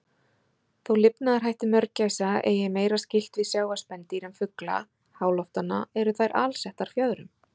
Þó lifnaðarhættir mörgæsa eigi meira skylt við sjávarspendýr en fugla háloftanna, eru þær alsettar fjöðrum.